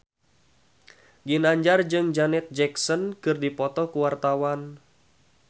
Ginanjar jeung Janet Jackson keur dipoto ku wartawan